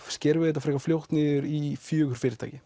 skerum við þetta frekar fljótt niður í fjögur fyrirtæki